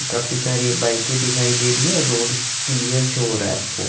काफी सारी बाईके दिखाई दे रही हे रोड क्लियर शो र हे आपको --